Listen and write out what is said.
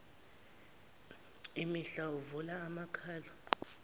imihlathi uvula amakhala